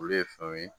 Olu ye fɛnw ye